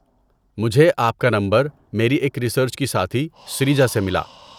مجھے آپ کا نمبر میری ایک ریسرچ کی ساتھی سریجا سے ملا۔